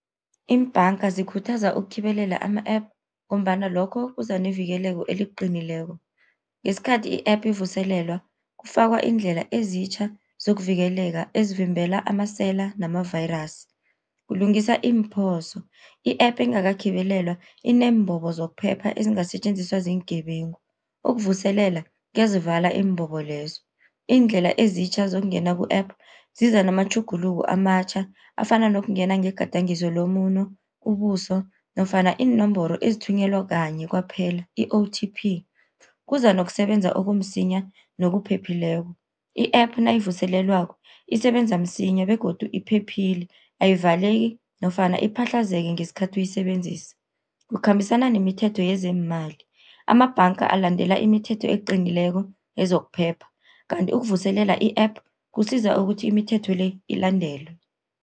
Iimbhanga zikhuthaza ukukhibelela ama-app, ngombana lokho kuza nevikeleko eliqinileko. Ngesikhathi i-app ivuselelwa kufakwa iindlela ezitjha zokuvikeleka ezivimbela amasela nama-virus. Kulungiswa iimphoso, i-app engakakhibelelwa ineembobo zokuphepha ezingasetjenziswa ziingebengu, ukuvuselela kezivala iimbobo lezo. Iindlela ezitjha zokungena ku-app ziza namatjhuguluko amatjha afana nokungena ngegadangiso lomuno, ubuso nofana iinomboro ezithunyelwa kanye kwaphela i-O_T_P. Kuza nokusebenza okumsinya nokuphephileko, i-app nayivuselelwako isebenza msinya begodu iphephile, ayivaleki nofana iphahlazeke ngesikhathi uyisebenzisa. Kukhambisana nemithetho yezeemali, amabhanga alandela imithetho eqinileko yezokuphepha kanti ukuvuselela i-app kusiza ukuthi imithetho le ilandelwe.